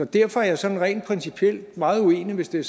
derfor er jeg sådan rent principielt meget uenig hvis det